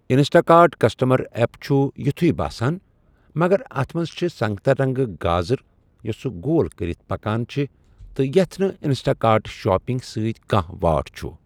Insta cart customer app چُھ یُتھوے باسان مگر اَتھ منٛز چھےٚ سنگتر رنگہٕ گازٕر یۄسہٕ گول كٔرِتھ پكان چِھ تہٕ یَتھ نہٕ اِنسٹا كارٹ شاپِنگ سٕتۍ كانہہ واٹھ چُھ ۔